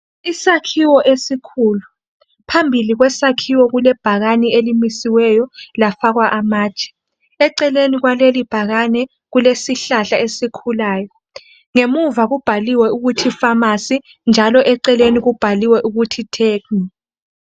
Isakhiwo esikhulu .Phambili kwesakhiwo kule bhakane elimisiweyo lafakwa amatshe .Eceleni kwaleli bhakane kulesihlahla esikhulayo Ngemuva kubhaliwe ukuthi pharmacy njalo eceleni kubhaliwe ukuthi Tecno.